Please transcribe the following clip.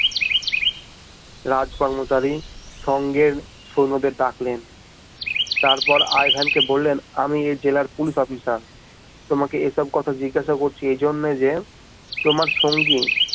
রাজ কর্মচারী সঙ্গের সৈন্যদের ডাকলেন তারপর আই ভেন কে বললেন আমি এই জেলার পুলিশ অফিসার তোমাকে এসব কথা জিজ্ঞাসা করছি এই জন্যই যে তোমার সঙ্গী